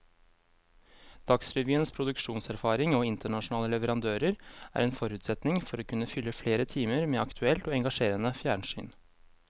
Dagsrevyens produksjonserfaring og internasjonale leverandører er en forutsetning for å kunne fylle flere timer med aktuelt og engasjerende fjernsyn.